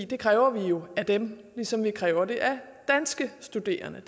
det kræver vi jo af dem ligesom vi kræver det af danske studerende